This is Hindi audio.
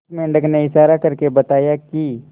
उस मेंढक ने इशारा करके बताया की